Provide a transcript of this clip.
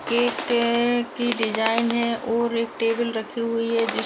एक केक के की डिजाइन है और एक टेबल रखी हुई है जिस --